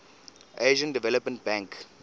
asian development bank